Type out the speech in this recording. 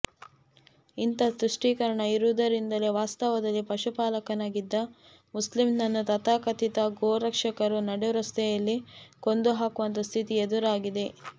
ಇಂಥ ತುಷ್ಟೀಕರಣ ಇರುವುದರಿಂದಲೇ ವಾಸ್ತವದಲ್ಲಿ ಪಶುಪಾಲಕನಾಗಿದ್ದ ಮುಸ್ಲಿಮನನ್ನು ತಥಾಕಥಿತ ಗೋರಕ್ಷಕರು ನಡು ರಸ್ತೆಯಲ್ಲಿ ಕೊಂದುಹಾಕುವಂಥ ಸ್ಥಿತಿ ಎದುರಾಗಿದೆ